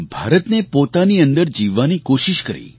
ભારતને પોતાની અંદર જીવવાની કોશિશ કરી